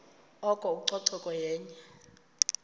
oko ucoceko yenye